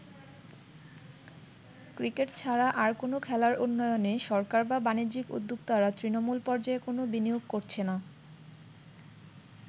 Cricket ছাড়া আর কোন খেলার উন্নয়নে সরকার বা বাণিজ্যিক উদ্যোক্তারা তৃণমূল পর্যায়ে কোন বিনিয়োগ করছে না।